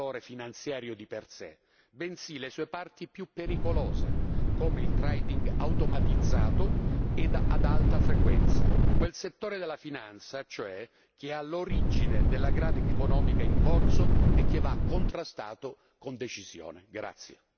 La tassa non colpirà il settore finanziario di per sé, bensì le sue parti più pericolose come il trading automatizzato e ad alta frequenza, ossia quel settore della finanza che è all'origine della grave crisi economica in corso e che va contrastato con decisione.